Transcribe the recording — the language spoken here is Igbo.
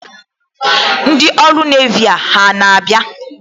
Ndị ọrụ Nevi a na-abịa?